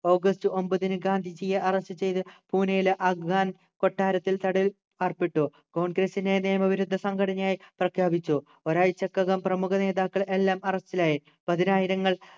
August ഒമ്പതിന് ഗാന്ധിജിയെ arrest ചെയ്ത് പൂനെയിലെ അഗാൻ കൊട്ടാരത്തിൽ തടവിൽ ആർപ്പെട്ടു congress നെ നിയമവിരുദ്ധ സംഘടനയായി പ്രഖ്യാപിച്ചു ഒരാഴ്ചക്കകം പ്രമുഖ നേതാക്കൾ എല്ലാം അറസ്റ്റിലായി പതിനായിരങ്ങൾ